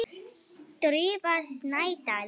Drífa Snædal.